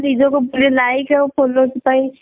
ନିଜକୁ ଭଲ like ଆଉ followers ପାଇଁ